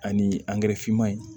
Ani finman in